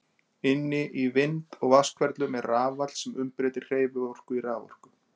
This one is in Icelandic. Inni í vind- og vatnshverflum er rafall sem umbreytir hreyfiorku í raforku.